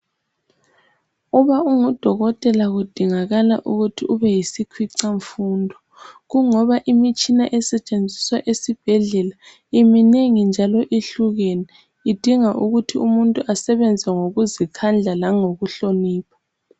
Uba ungudokotela kudingakala ukuthi ube yisikhwicamfundo. Kungoba imitshina esetshenziswa esibhedlela iminengi njalo ihlukene, idinga ukuthi umuntu asebenze ngokuzikhandla langokuhlonipha.